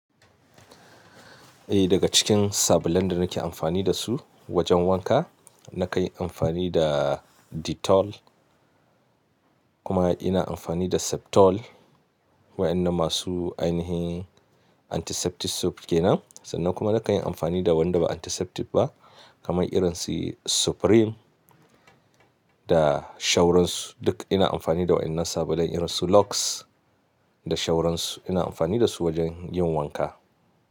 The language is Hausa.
Eh daga cikin sabulan da nake amfani da su, wajen wanka, na kai amfani da Dettol kuma ina amfani da Septo, l waƴannan masu ainihin antiseptic soap kenan, sannan kuma na kan yi amfani da wanda ba antiseptic ba kamar irin su Supreme da shauran su duk ina amfani da waƴannan sabulan irin su Lux, da shauran su, ina amfani da su wajen yin wanka.